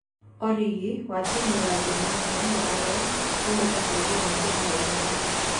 Origi(wa timũ ya Gor Mahia na ũrĩa wumĩte bũrũri wa Kenya) Ithatũ.